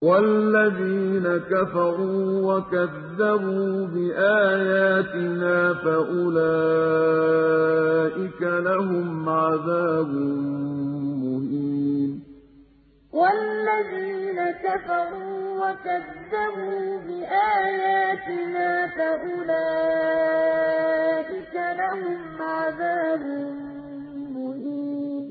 وَالَّذِينَ كَفَرُوا وَكَذَّبُوا بِآيَاتِنَا فَأُولَٰئِكَ لَهُمْ عَذَابٌ مُّهِينٌ وَالَّذِينَ كَفَرُوا وَكَذَّبُوا بِآيَاتِنَا فَأُولَٰئِكَ لَهُمْ عَذَابٌ مُّهِينٌ